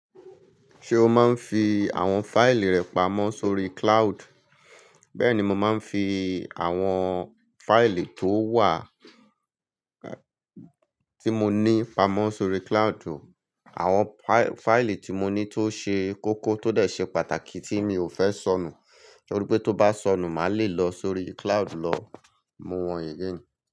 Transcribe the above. Ṣé o máa ń fi àwọn fáìlì rẹ pamọ́ sórí cloud? Bẹ́ẹ̀ni, mo máa ń fi àwọn fáìlì tó wà tí mo ní pamọ́ sórí cloud. Àwọn fáìlì tí mo ní tó ṣe kókó tọ́ dẹ̀ ṣe pàtàkì tí mi ò fẹ́ sọnù. Torí pé tó bá sọnù, màá le lọ sórí cloud lọ mú wọn again.